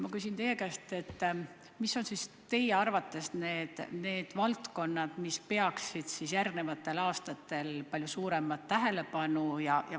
Ma küsin teie käest, mis on teie arvates need valdkonnad, mis peaksid järgmistel aastatel palju suuremat tähelepanu saama.